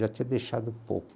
Já tinha deixado